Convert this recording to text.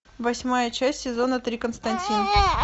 восьмая часть сезона три константин